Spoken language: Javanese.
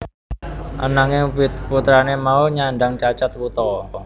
Ananging putrane mau nyandhang cacat wuta